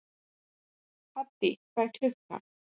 Haddý, hvað er klukkan?